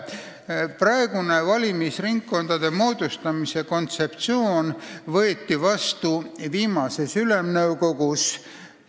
Praegune valimisringkondade moodustamise kontseptsioon võeti vastu viimases Ülemnõukogus.